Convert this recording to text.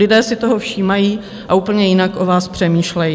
Lidé si toho všímají a úplně jinak o vás přemýšlejí.